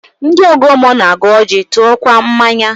Ndị ọgọ mmụọ na-agọ ọjị, tụọkwa mmanya